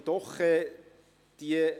Einen schönen Abend.